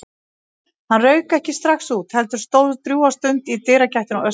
Nei, hann rauk ekki strax út, heldur stóð drjúga stund í dyragættinni og öskraði.